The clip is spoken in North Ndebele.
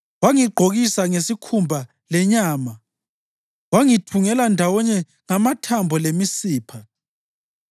wangigqokisa ngesikhumba lenyama, wangithungela ndawonye ngamathambo lemisipha?